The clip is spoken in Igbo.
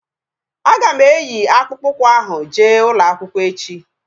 Aga m eyi akpụkpọ ụkwụ ahu jee ụlọakwụkwọ echi